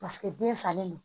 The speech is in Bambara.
Paseke den salen don